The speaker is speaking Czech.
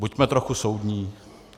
Buďme trochu soudní.